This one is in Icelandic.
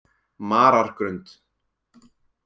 Marargrund